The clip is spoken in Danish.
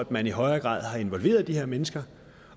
man i højere grad havde involveret de her mennesker